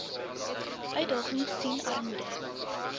uitdagings sien armoede